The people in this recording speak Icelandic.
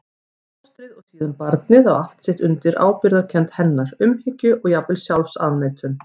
Fóstrið og síðan barnið á allt sitt undir ábyrgðarkennd hennar, umhyggju og jafnvel sjálfsafneitun.